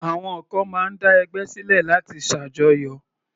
Àwọn kan máa ń dá ẹgbẹ́ sílẹ̀ láti ṣàjọyọ̀.